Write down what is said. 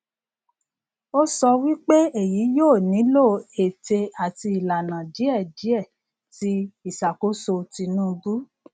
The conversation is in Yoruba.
o sọ wipe eyi yio nilo ete ati ilana diẹdiẹ ti iṣakoso tinubu